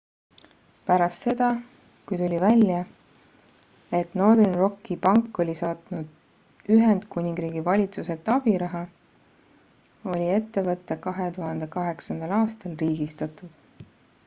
pärast seda kui tuli välja et northern rocki pank oli saanud ühendkuningriigi valitsuselt abiraha oli ettevõte 2008 aastal riigistatud